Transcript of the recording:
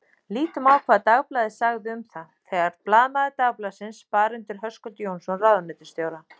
Lítum á hvað Dagblaðið sagði um það: Þegar blaðamaður Dagblaðsins bar undir Höskuld Jónsson ráðuneytisstjóra